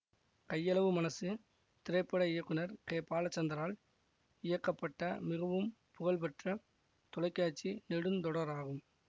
கையளவு மனசு திரைப்பட இயக்குனர் கே பாலச்சந்தரால் இயக்கப்பட்ட மிகவும் புகழ்பெற்ற தொலைக்காட்சி நெடுந்தொடராகும்